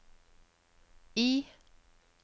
I